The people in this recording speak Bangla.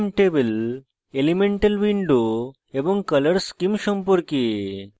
gchemtable elemental window এবং color schemes সম্পর্কে